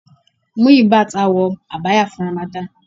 Muyibat á wọ Abaya fun Ramadan.